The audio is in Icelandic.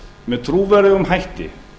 með trúverðugum hætti